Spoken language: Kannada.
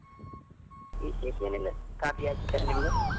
ವಿಶೇಷ ಏನು ಇಲ್ಲ sir , ಕಾಫಿ ಆಯ್ತ sir ನಿಮ್ದು?